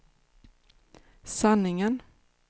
sanningen